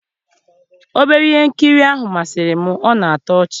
obere ihe nkiri ahụ masịrị m, ọ na-atọ ọchị